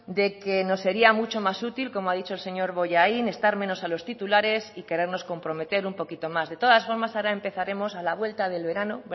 de que nos sería mucho más útil como ha dicho el señor bollain estar menos a los titulares y querernos comprometer un poquito más de todas formas ahora empezaremos a la vuelta del verano